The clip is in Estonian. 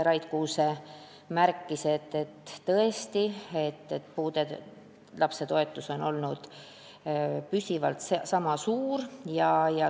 Rait Kuuse märkis, et tõesti, puudega lapse toetus on olnud püsivalt ühesuurune.